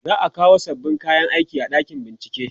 za'a kawo sababbin kayan aiki a ɗakin bincike